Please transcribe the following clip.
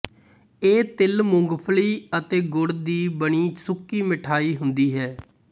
ਇਹ ਤਿਲ ਮੂੰਗਫਲੀ ਅਤੇ ਗੁੜ ਦੀ ਬਣੀ ਸੁੱਕੀ ਮਿਠਾਈ ਹੁੰਦੀ ਹੈ